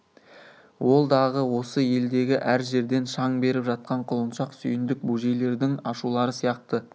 ол-дағы осы елдегі әр жерден шаң беріп жатқан құлыншақ сүйіндік бөжейлердің ашулары сияқты